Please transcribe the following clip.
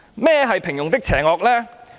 何謂平庸的邪惡？